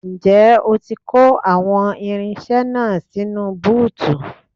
Ǹjẹ́ ó ti kó àwọn irinṣẹ́ náà sínú búùtù?